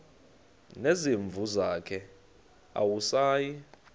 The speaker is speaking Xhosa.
nezimvu zakhe awusayi